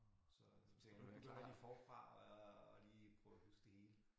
Så tænkte jeg nu begynder jeg lige forfra og lige prøver at huske det hele